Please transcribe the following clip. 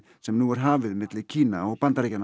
sem nú er hafið milli Kína og Bandaríkjanna